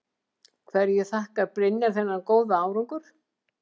Hverju þakkar Brynjar þennan góða árangur?